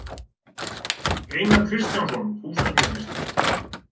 Einar Kristjánsson, húsasmíðameistari.